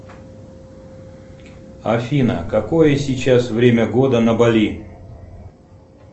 афина какое сейчас время года на бали